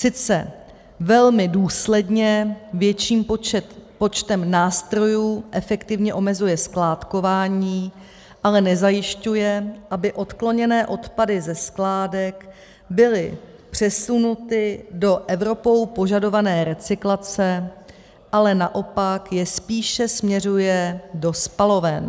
Sice velmi důsledně větším počtem nástrojů, efektivně omezuje skládkování, ale nezajišťuje, aby odkloněné odpady ze skládek byly přesunuty do Evropou požadované recyklace, ale naopak je spíše směřuje do spaloven.